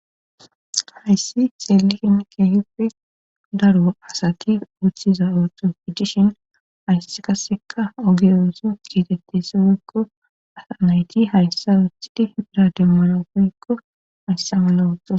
Hayssi seeliken keehippe daru asati uththiza ootofi dishin hayss kasseka ogiyooso kiitettesi woykko asa nayti hayssa uthidi birademara hoykko hayssa mala oothto.